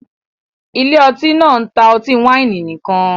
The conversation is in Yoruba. Ilé ọtí náà ń ta ọtí wáìnì nìkan